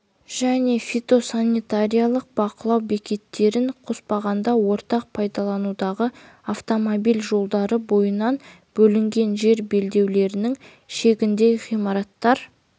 және фитосанитариялық бақылау бекеттерін қоспағанда ортақ пайдаланудағы автомобиль жолдары бойынан бөлінген жер белдеулерінің шегінде ғимараттар